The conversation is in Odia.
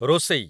ରୋଷେଇ